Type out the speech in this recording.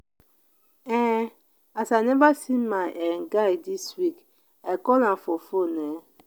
um as i neva see my um guy dis week i call am for fone. um